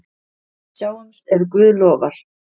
Sjáumst ef Guð lofar.